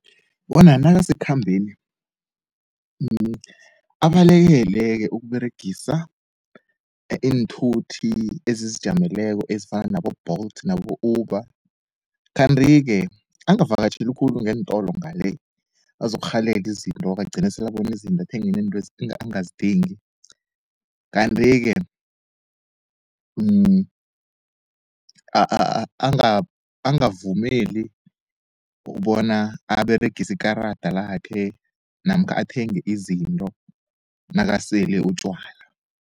Wona nakasekukhambeni abalekele-ke ukuberegisa iinthuthi ezizijameleko ezifana nabo-Bolt nabo-Uber. Kanti-ke angavakatjheli khulu ngeentolo ngale, bazokurhalela izinto-ke agcine sele abona izinto athenge nento angazidingi. Kanti-ke angavumeli bona aberegise ikarada lakhe namkha athenge izinto nakasele utjwala.